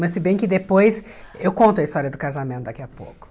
Mas se bem que depois eu conto a história do casamento daqui a pouco.